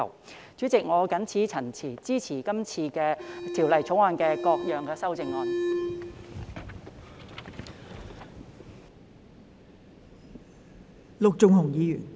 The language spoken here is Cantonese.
代理主席，我謹此陳辭，支持《條例草案》的各項修正案。